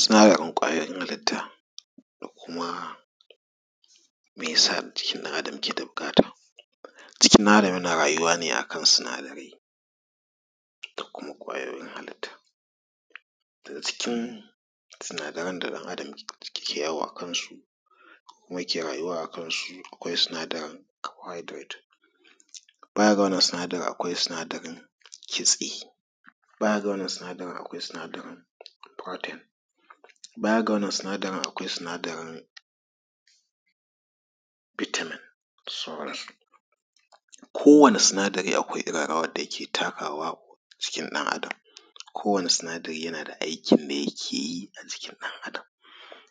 Tsarin ƙwayan halitta ko kuma me sa jiki ɗan Adam ke da buƙatan jikin ɗan Adam yana rayuwa ne akan sinadarai da kuma ƙwayoyin halitta cikin sinadaran da ɗan Adam ke yawo a kansu ko kuma yake rayuwa a kansu akwai sinadarin carbohydrates baya ga wannan akwai sinadarin kitse, baya ga wannan sinadarin akwai sinadarin protein baya ga wannan sinadarin akwai sinadarin bitamin da sauransu. Kowani sinadari akwai irin rawan da yake takawa a jikin ɗan Adam. Kowani sinadari akwai aikin da yake yi a jikin ɗan Adam.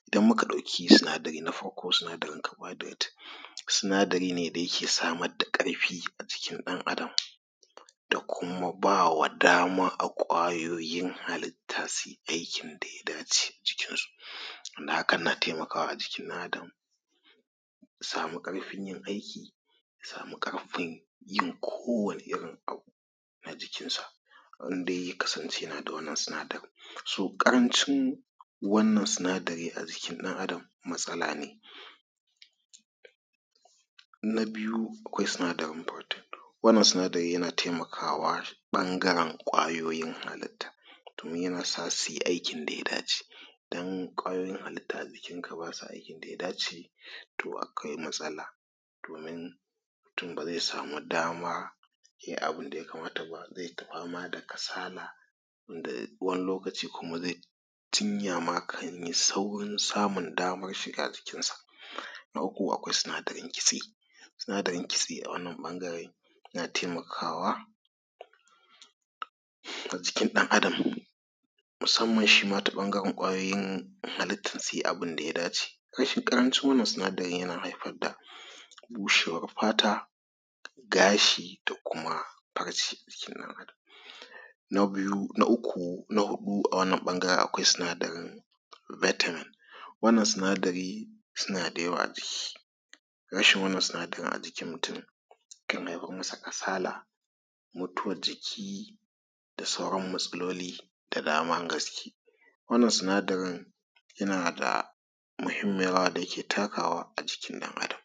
Idan muka ɗauki sinadari na farko sinadarin carbohydrates sinadari ne da yake samar da ƙarfi a jikin ɗan Adam da kuma ba wa dama wa kwayoyin halitta su yi aikin da ya dace cikinsu don haka yana taimakawa a jikin ɗan’Adam su samu ƙarfin yin aiki su samu ƙarfin yin kowani irin abu a jikinsa zin dai ya kasance yana da wannan sinadarin so, ƙarancin wannan sinadari a jikin ɗan Adam matsala ne. Na biyu akwai sinadarin protein wannan sinadari yana taimakawa ɓangaren ƙwayoyin hallita domin yana sa su yi aikin dan ya dace don ƙwayoyin halitta a jikinka ba sa aikin da ya dace toh akwai matsala domin mutum ba ze samu dama ya yi abun da ya kamata ba ze ta fama da kasala wanda wani lokaci kuma ze yi jinya ya yi saurin samun daman shiga jikinsa. Na uku akwai sinadarin kitse, sinadarin kitse a wanna ɓangaren yana taimakawa a jikin ɗan Adam musamman shi ma ta ɓangaren kwayoyin halittun su yi abun da ya dace rashin ƙaracin wannan sinadarin na haifar da bushewar fata, gashi da kuma farce a jikin ɗan’Adam. Na biyu na uku na huɗu a wannan ɓangaren akwai sinadarin vitamin wannan sinadari suna da yawa a jiiki, rashin wannan sinadarin a jikin mutum kan haifar masa kasala, mutuwar jiki da sauran matsaloli da daman gaske, wannan sinadarin yana da muhimmiyar rawa da yake takawa a jikin ɗan’Adam.